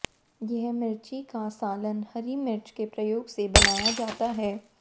यह मिर्ची का सालन हरी मिर्च के प्रयोग से बनाया जाता है